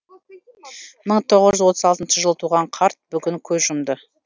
мың тоғыз жүз отыз алтыншы жылы туған қарт бүгін көз жұмды